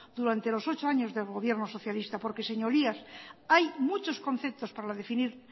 durante los ocho años de gobierno socialista porque señorías hay muchos conceptos para definir